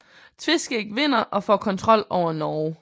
Tveskæg vinder og får kontrol over Norge